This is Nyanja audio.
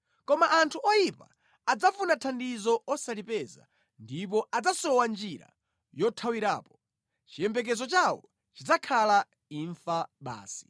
Koma anthu oyipa adzafuna thandizo osalipeza, ndipo adzasowa njira yothawirapo; chiyembekezo chawo chidzakhala imfa basi.”